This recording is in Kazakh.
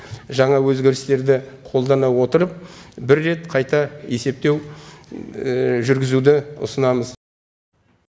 жаңа өзгерістерді қолдана отырып бір рет қайта есептеу жүргізуді ұсынамыз